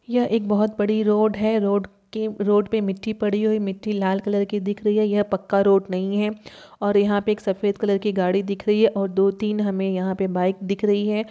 यह एक बोहोत बड़ी रोड है। रोड के रोड पे मिट्टी पड़ी हुई मिट्टी लाल कलर की दिख रही है। यह पक्का रोड नही है और यहाँ पे एक सफेद कलर की गाडी दिख रही है और दो-तीन हमें यहाँ पे बाइक दिख रही हैं।